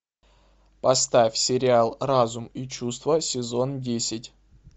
поставь сериал разум и чувства сезон десять